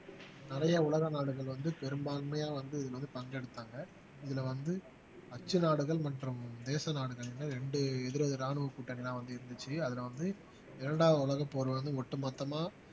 நிறைய உலக நாடுகள் வந்து பெரும்பான்மையா வந்து இதுமாரி பங்கெடுத்தாங்க இதுல வந்து அச்சு நாடுகள் மற்றும் தேச நாடுகள்ன்னு ரெண்டு எதிர் எதிர் ராணுவ கூட்டணிதான் வந்து இருந்துச்சு அதுல வந்து இரண்டாவது உலகப்போர் வந்து ஒட்டுமொத்தமா